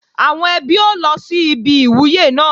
Àwọn ẹbí ó lọ síbi ìwúyè náà